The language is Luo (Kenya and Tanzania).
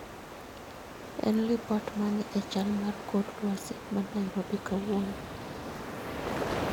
En lipot mane e chal mar kor lwasi ma Nairobi kawuononi